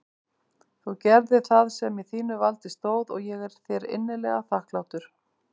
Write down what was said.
Þú gerðir það sem í þínu valdi stóð og ég er þér innilega þakklátur.